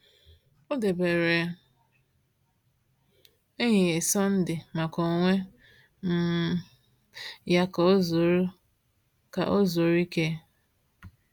O debere ehihie Sọnde maka onwe um ya ka o zuru ka o zuru ike.